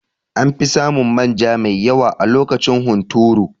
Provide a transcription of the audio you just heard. Anfi samun manja mai yawa a lokacin hunturu